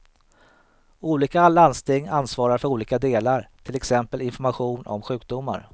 Olika landsting ansvarar för olika delar, till exempel information om sjukdomar.